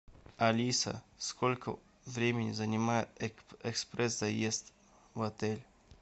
алиса сколько времени занимает экспресс заезд в отель